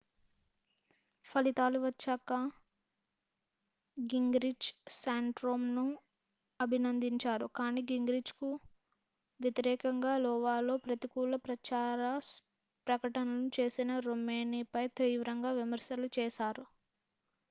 ఫలితాలు వచ్చాక gingrich santorumను అభినందించారు కానీ gingrichకు వ్యతిరేకంగా iowaలో ప్రతికూల ప్రచార ప్రకటనలు చేసిన romneyపై తీవ్రంగా విమర్శలు చేశారు